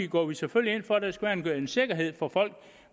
går vi selvfølgelig ind for at der skal være en sikkerhed for folk